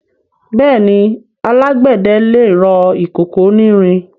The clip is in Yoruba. Bẹ́ẹ̀ni, alágbẹ̀dẹ lè rọ ìkòkò onírin.